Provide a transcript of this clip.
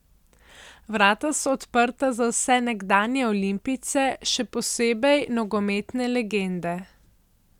Vrata so odprta za vse nekdanje Olimpijce, še posebej nogometne legende.